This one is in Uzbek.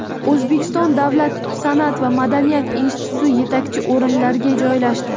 O‘zbekiston davlat san’at va madaniyat instituti yetakchi o‘rinlarga joylashdi.